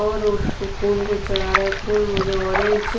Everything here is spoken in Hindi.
और उस फूल को चढ़ा रहा है फूल मुझे ऑरेंज --